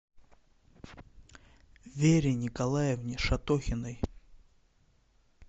вере николаевне шатохиной